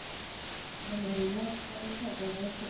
મને એવી લપ કરવી નો ગમે તો